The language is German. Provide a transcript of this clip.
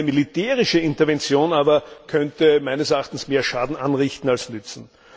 Eine militärische Intervention aber könnte meines Erachtens mehr Schaden anrichten als nützen.